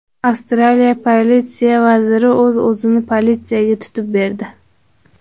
Avstraliya politsiya vaziri o‘z-o‘zini politsiyaga tutib berdi.